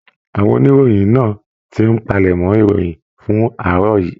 Àwọn oníròyìn náà tí n palẹmọ̀ ìròyìn fún àárọ̀ yìí.